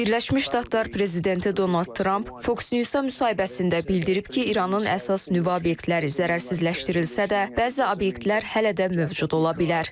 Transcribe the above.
Birləşmiş Ştatlar prezidenti Donald Tramp Fox News-a müsahibəsində bildirib ki, İranın əsas nüvə obyektləri zərərsizləşdirilsə də, bəzi obyektlər hələ də mövcud ola bilər.